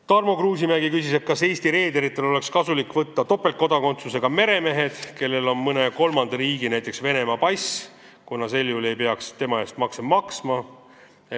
Tarmo Kruusimäe küsis, kas Eesti reederitel oleks kasulik võtta tööle topeltkodakondsusega meremehed, kellel on mõne kolmanda riigi, näiteks Venemaa pass, kuna sel juhul ei peaks nende eest makse maksma.